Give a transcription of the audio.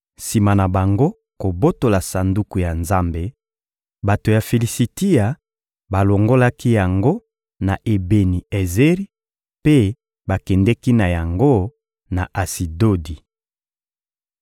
Sima na bango kobotola Sanduku ya Nzambe, bato ya Filisitia balongolaki yango na Ebeni-Ezeri mpe bakendeki na yango na Asidodi.